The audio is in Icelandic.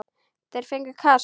Þeir fengju kast!